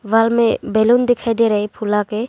Wall में balloon दिखाई दे रहा है फुला के।